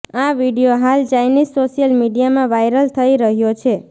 આ વીડિયો હાલ Chinese social મીડિયામાં વાયરલ થઈ રહ્યો છે